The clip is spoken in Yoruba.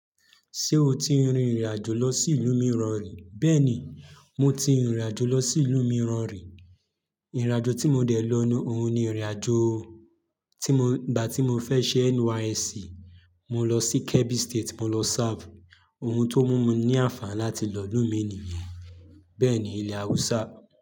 Ṣé o ti rin ìrìn àjò lọ sí ìlú mìíràn rí? Bẹ́ẹ̀ni, mo ti rin ìrìn àjò lọ sí ìlú mìíràn rí. Ìrìn àjò tí mo dẹ̀ lọ ní, òun ni ìrìn àjò tí mo, ìgbà tí mo fẹ́ ṣe NYSC, mo lọ sí Kebbi State, mo lọ serve. Oun tó mú mi ní àǹfààní láti lọ ìlú mi nìyẹn. Bẹ́ẹ̀ ni ilẹ̀ Haúsá.